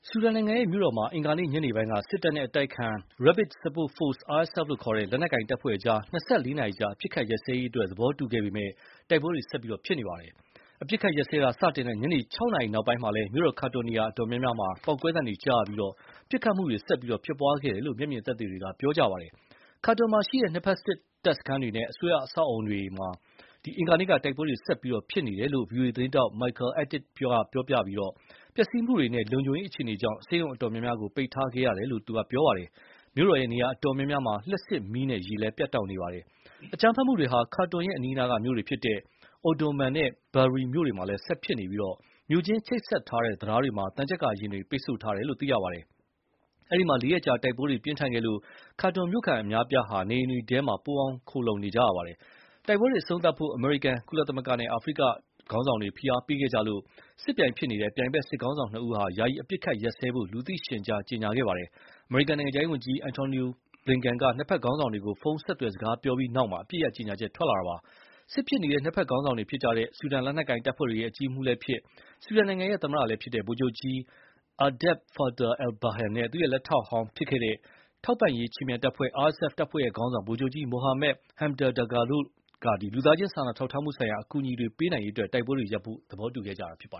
ဆူဒန်နိုင်ငံရဲ့မြို့တော်မှာ အင်္ဂါနေ့ညနေပိုင်းက စစ်တပ်နဲ့ အတိုက်အခံ Rapid Support Forces (RSF) လို့ခေါ်တဲ့ လက်နက်ကိုင်တပ်ဖွဲ့ကြား ၂၄ နာရီကြာ အပစ်ရပ်စဲရေးအတွက် သဘောတူထားပေမယ့် တိုက်ပွဲတွေ ဆက်လက်ဖြစ်ပွားနေပါတယ်။ အပစ်အခတ်ရပ်စဲတာ စတင်တဲ့ညနေ ၆ နာရီနောက်ပိုင်းမှာလည်း မြို့တော် ခါတွန်ရဲ့ နေရာအတော်များများမှာ ပေါက်ကွဲသံတွေကြားရပြီး ပစ်ခတ်မှုတွေဆက်လက်ဖြစ်ပွားခဲ့တယ်လို့ မျက်မြင်သက်သေတွေက ပြောပါတယ်။ ခါတွန်မှာရှိတဲ့ နှစ်ဖက်တပ်စခန်းတွေနဲ့ အစိုးရအဆောက်အအုံတွေတဝိုက်မှာ အင်္ဂါနေ့က တိုက်ပွဲတွေ ဆက်လက်ဖြစ်ပွားနေတယ်လို့ ဗွီအိုအေသတင်းထောက် Michael Atit က ပြောပြီး ပျက်စီးမှုတွေနဲ့ လုံခြုံရေးအခြေအနေကြောင့် ဆေးရုံအတော်များများကို ပိတ်ထားခဲ့ရတယ်လို့ ပြောပါတယ်။ မြို့တော်ရဲ့နေရာအတော်များများမှာ လျှပ်စစ်မီးနဲ့ ရေလည်း ပြတ်တောက်နေပါတယ်။ အကြမ်းဖက်မှုတွေဟာ ခါတွန်ရဲ့အနီးအနားက မြို့တွေဖြစ်ကြတဲ့ Omdurman နဲ့ Bahri မြို့တွေမှာလည်း ဖြစ်ပွားနေပြီး မြို့ချင်း ချိတ်ဆက်ထားတဲ့ တံတားတွေမှာ သံချပ်ကာယာဉ်တွေနဲ့ ပိတ်ဆို့ထားတယ်လို့ ဆိုပါတယ်။ အဲဒီမှာ ၄ ရက် ကြာ တိုက်ပွဲတွေ ပြင်းထန်ခဲ့လို့ ခါတွန်မြို့ခံအများအပြားဟာ နေအိမ်တွေထဲမှာ ပုန်းအောင်း ခိုလှုံနေခဲ့ကြရတာပါ။ ဒီတိုက်ပွဲတွေအဆုံးသတ်ဖို့ အမေရိကန်၊ ကုလသမဂ္ဂနဲ့ အာဖရိကခေါင်းဆောင်တွေက ဖိအားပေးခဲ့ကြလို့ စစ်ဖြစ်နေတဲ့ ပြိုင်ဘက် စစ်ခေါင်းဆောင်နှစ်ဦးက ယာယီအပစ်အခတ်ရပ်စဲဖို့ လူသိရှင်ကြား ကြေညာထားတာပါ။ အမေရိကန်နိုင်ငံခြားရေးဝန်ကြီး အန်ထိုနီ ဘလင်ကန်က နှစ်ဘက် ခေါင်းဆောင်တွေကို ဖုန်းဆက်သွယ် စကားပြောပြီးနောက်မှာ အပစ်ရပ်ကြေညာချက်ထွက်လာတာပါ။ စစ်ဖြစ်နေတဲ့ နှစ်ဘက်ခေါင်းဆောင်တွေဖြစ်ကြတဲ့ ဆူဒန်လက်နက်ကိုင်တပ်ဖွဲ့တွေရဲ့ အကြီးအမှူးလည်းဖြစ်၊ ဆူဒန်နိုင်ငံရဲ့သမ္မတလည်းဖြစ်တဲ့ ဗိုလ်ချုပ်ကြီး အာဘ်ဒယ် ဖာတာ အယ်လ်-ဘာဟန်နဲ့ သူ့ရဲ့လက်ထောက်ဟောင်းဖြစ်ခဲ့တဲ့ ထောက်ပံ့ရေးခြေမြန်တပ်ဖွဲ့ RSF တပ်ဖွဲ့ခေါင်းဆောင် ဗိုလ်ချုပ်ကြီး မိုဟာမက် ဟမ်ဒန် ဒါဂါလို တို့က လူသားချင်းစာနာထောက်ထားမှုဆိုင်ရာ အကူအညီတွေပေးနိုင်ရေးအတွက် တိုက်ပွဲတွေရပ်ဖို့ သဘောတူခဲ့ကြတာပါ